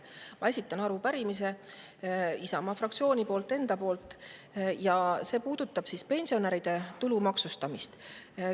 Ma esitan arupärimise Isamaa fraktsiooni poolt ja enda poolt ja see puudutab pensionäride tulu maksustamist.